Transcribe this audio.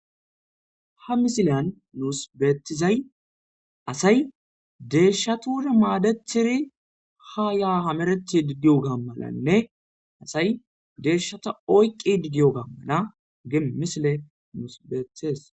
Ha misilyan nus beettizay asay deeshshatuuda maadetidi ha yaa hamereti diyoga gammalanne asay deeshshata oyqqi diyoga malanne misile nus beetees.